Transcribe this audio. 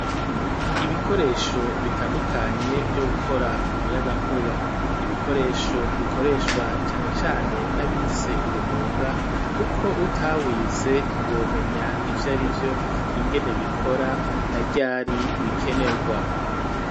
Ibikoresho bitandukanye vyo gukora umuyagankuba n'ibikoresho bikoreshwa cane cane n'abize uwo mwuga kuko utawize ntiwomenya ivyo arivyo ingene bikora na vyari bikenerwa.